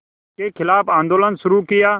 के ख़िलाफ़ आंदोलन शुरू किया